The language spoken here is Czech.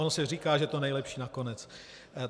Ono se říká, že to nejlepší nakonec.